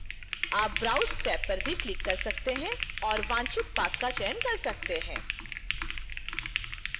आप browse tab पर भी click कर सकते हैं और वांछित path का चयन कर सकते हैं